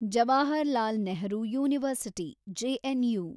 Jawaharlal Nehru university, JNU